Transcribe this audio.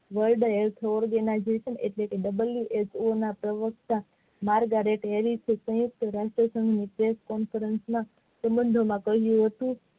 world wed organization એટલે કે who ના પરવારકતા તે રાષ્ટ્રષઘના સંબંધોમાં કઈ રીતે